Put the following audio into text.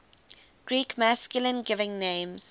greek masculine given names